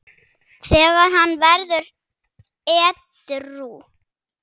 þegar hann varð edrú.